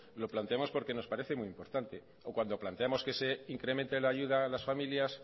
lo planteamos porque nos parece muy importante o cuando planteamos que se incremente la ayuda a las familias